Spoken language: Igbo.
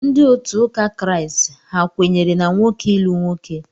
Ndị otu ụka Kraịst ha kwenyere na nwoke ịlụ nwoke?